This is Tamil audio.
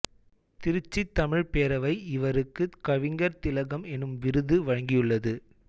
திருச்சி தமிழ்ப் பேரவை இவருக்கு கவிஞர் திலகம் எனும் விருது வழங்கியுள்ளது